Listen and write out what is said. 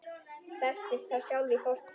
Festist þá sjálf í fortíð.